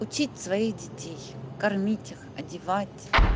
учить своих детей кормить их одевать